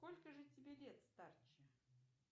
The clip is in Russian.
сколько же тебе лет старче